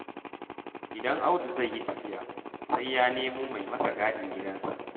Idan Audu zai yi tafiya, sai ya nemo mai masa gadin gidansa.